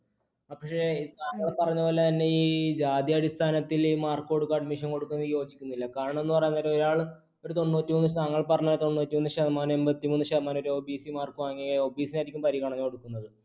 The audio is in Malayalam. പക്ഷേ താങ്കൾ പറഞ്ഞതുപോലെ തന്നെ ഈ ജാതി അടിസ്ഥാനത്തിൽ ഈ mark കൊടുക്ക admission കൊടുക്കുന്നതിനോട് യോജിക്കുന്നില്ല. കാരണം എന്ന് പറഞ്ഞാൽ, ഒരാൾ ഒരു തൊണ്ണൂറ്റിമൂന്ന് തൊണ്ണൂറ്റിമൂന്ന് ശതമാനം എൺപത്തിമൂന്ന് ശതമാനം ഒരു OBC mark വാങ്ങിയാ OBC ആയിരിക്കും പരിഗണന കൊടുക്കുന്നത്.